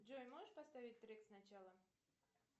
джой можешь поставить трек с начала